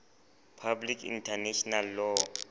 public international law